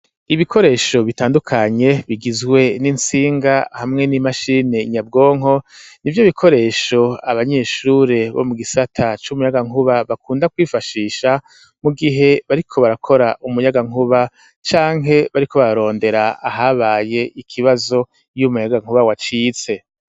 Ibikoresho bitandukanye, bigizwe n'intsinga hamwe n'imashini nyabwonko, nivyo bikoresho abanyeshure bo mu gisata c'umuyagankuba bakunda kwifashisha, mu gihe bariko barakora umuyagankuba, canke bariko barondera ahabaye ikibazo, iyo umuyagankuba wacitse.